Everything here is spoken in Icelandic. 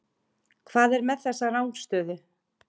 Hvað er með þessa rangstöðu?